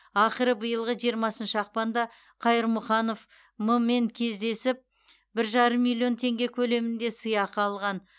ақыры биылғы жиырмасыншы ақпанда қайырмұханов м мен кездесіп бір жарым миллион теңге көлемінде сыйақы алған